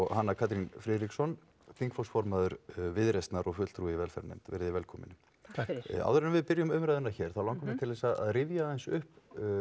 Hanna Katrín Friðriksson þingflokksformaður Viðreisnar og fulltrúi í velferðarnefnd velkomin takk fyrir áður en við byrjum umræðuna hér þá langar mig til að rifja aðeins upp